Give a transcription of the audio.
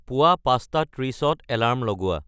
পুৱা পাঁচটা ত্ৰিশত এলাৰ্ম লগোৱা